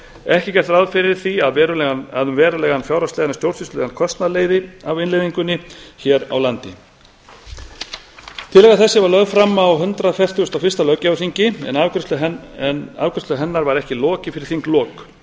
ekki er gert ráð fyrir því að verulegan fjárhagslegan eða stjórnsýslulegur kostnað leiði af innleiðingunni hér á landi tillaga þessi var lögð fram á hundrað fertugasta og fyrsta löggjafarþingi en afgreiðslu hennar var ekki lokið fyrir þinglok